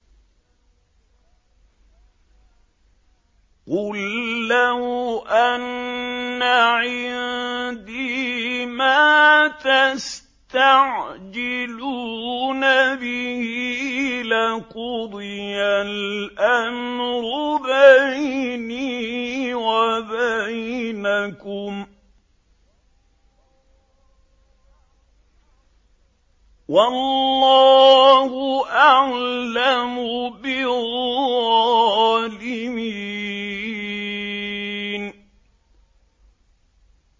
قُل لَّوْ أَنَّ عِندِي مَا تَسْتَعْجِلُونَ بِهِ لَقُضِيَ الْأَمْرُ بَيْنِي وَبَيْنَكُمْ ۗ وَاللَّهُ أَعْلَمُ بِالظَّالِمِينَ